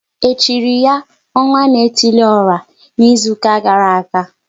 E chiri ya *Ọnwa na etili ora" n'izuka gara aga?